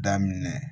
Daminɛ